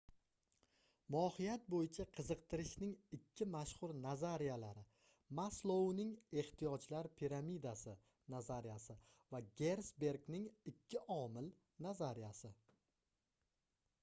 mohiyat boʻyicha qiziqtirishning ikki mashhur nazariyalari maslouning ehtiyojlar piramidasi nazariyasi va gersbergning ikki omil nazariyasi